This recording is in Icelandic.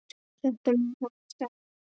Þetta mun hafa staðið lengi.